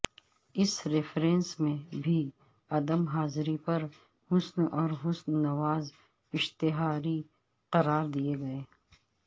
اس reference میں بھی عدم حاضری پر حسن اور حسن نواز اشتہاری قرار دیے گئے